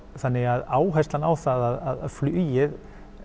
þannig að áherslan á það að flugið